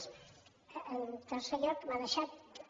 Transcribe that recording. en tercer lloc m’ha deixat també